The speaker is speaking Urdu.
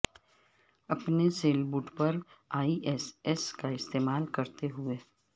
اپنے سیلبوٹ پر ای ایس ایس کا استعمال کرتے ہوئے